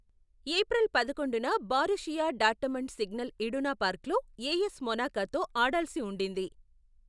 April పదకొండున, Borussia Dortmund Signal Iduna పార్క్లో AS మొనాకోతో ఆడాల్సి ఉండింది.